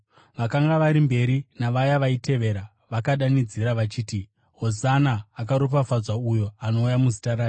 Vakanga vari mberi navaya vaitevera vakadanidzira vachiti: “Hosana!” “Akaropafadzwa uyo anouya muzita raShe!”